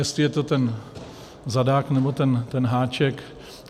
Jestli je to ten zadák, nebo ten háček.